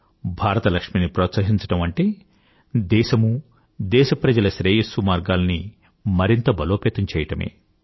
భారత లక్ష్మి ని ప్రోత్సహించడం అంటే దేశమూ దేశ ప్రజల శ్రేయస్సు మార్గాలని మరింత బలోపేతం చేయడమే